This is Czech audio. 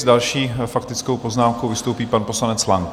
S další faktickou poznámkou vystoupí pan poslanec Lang.